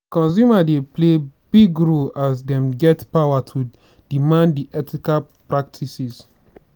consumer dey play big role as dem get power to demand di ethical practices.